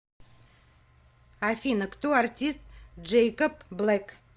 афина кто артист джэйкоб блэк